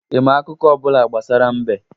Ị ma akụkọ ọ bụla gbasara mbe?